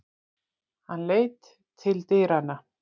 Hann leit til dyranna.